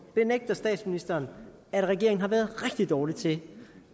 benægter statsministeren at regeringen har været rigtig dårlig til